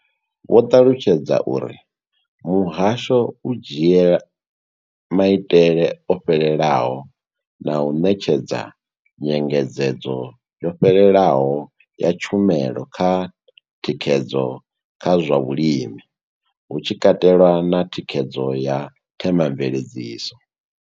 Vho ṱalutshedza uri muhasho u dzhia maitele o fhelelaho na u ṋetshedza nyengedzedzo yo fhelelaho ya tshumelo ya thikhedzo kha zwa vhulimi, hu tshi katelwa na thikhedzo ya Thema mveledziso.